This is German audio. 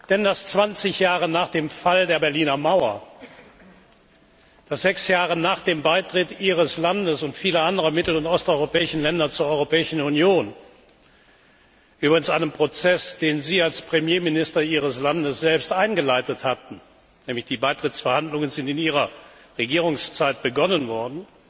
Denn dass 20 Jahre nach dem Fall der Berliner Mauer, sechs Jahre nach dem Beitritt Ihres Landes und vieler anderer mittel und osteuropäischer Länder zur Europäischen Union übrigens ein Prozess, den Sie als Premierminister Ihres Landes selbst eingeleitet hatten, weil ja die Beitrittsverhandlungen in Ihrer Regierungszeit aufgenommen wurden